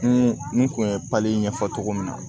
N kun ye ɲɛfɔ cogo min na